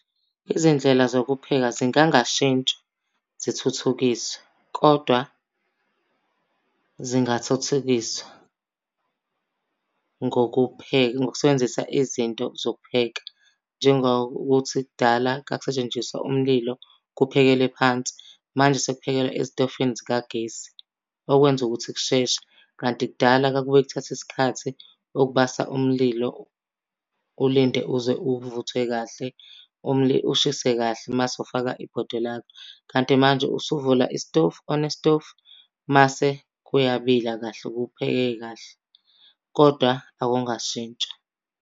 Izindlela zokupheka zingangashintsha zithuthukiswe kodwa zingathuthukiswa ngokupheka ngokusebenzisa izinto zokupheka. Njengokuthi kudala kwakusetshenziswa umlilo kuphekelwe phansi, manje sekuphekelwa ezitofini zikagesi okwenza ukuthi kusheshe. Kanti kudala kwakuke kuthathe isikhathi ukubasa umlilo, ulinde uze uvuthwe kahle, ushise kahle mase ufaka ibhodwe lakho. Kanti manje usuvula isitofu, one isitofu, mase kuyabila kahle kuphekeke kahle kodwa akungashintsha.